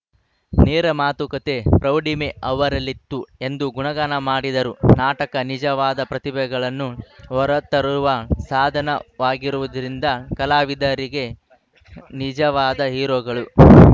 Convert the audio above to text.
ನೇರ ಮಾತುಕತೆ ಪ್ರೌಢಿಮೆ ಅವರಲ್ಲಿತ್ತು ಎಂದು ಗುಣಗಾನ ಮಾಡಿದರು ನಾಟಕ ನಿಜವಾದ ಪ್ರತಿಭೆಗಳನ್ನು ಹೊರತರುವ ಸಾಧನವಾಗಿರುವುದರಿಂದ ಕಲಾವಿದರೆ ನಿಜವಾದ ಹೀರೋಗಳು